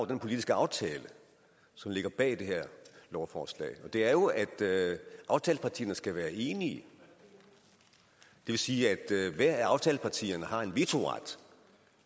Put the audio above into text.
den politiske aftale som ligger bag det her lovforslag og det er jo at aftalepartierne skal være enige det vil sige at hvert af aftalepartierne har en vetoret